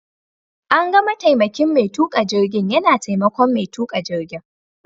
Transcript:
An ga mataimakin Mai tuƙa jirgin yana taimakon mai tuƙa jirgin.